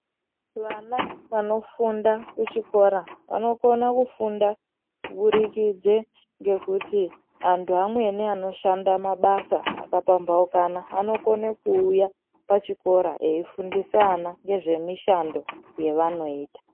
Vana vanofunda kuchikora vanokona kufunda kubudikidze ngekuti antu amweni anoshanda mabasa akapambaukana anokone kuuya pachikora eifundisa ana nezvemishando yaanoita.